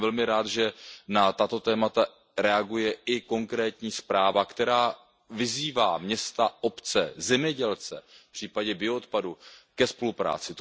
Jsem velmi rád, že na tato témata reaguje i konkrétní zpráva, která vyzývá města, obce zemědělce v případě bioodpadu ke spolupráci.